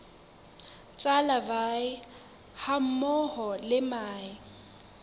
tsa larvae hammoho le mahe